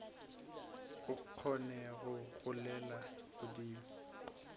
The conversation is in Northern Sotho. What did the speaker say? o kgone go golela godimo